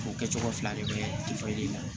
O kɛcogo fila de bɛ la